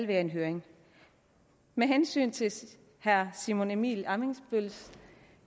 være en høring med hensyn til herre simon emil ammitzbølls